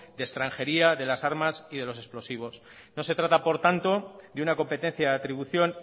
de extranjería de las armas y de los explosivos no se trata por tanto de una competencia de atribución